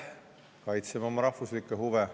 Me kaitseme oma rahvuslikke huve.